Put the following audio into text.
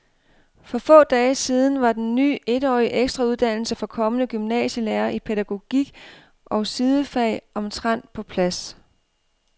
For få dage siden var den ny etårige ekstrauddannelse for kommende gymnasielærere i pædagogik og sidefag omtrent på plads.